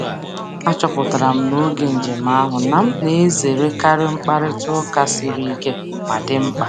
Achọpụtara m n'oge njem ahụ na m na-ezerekarị mkparịta ụka siri ike ma dị mkpa.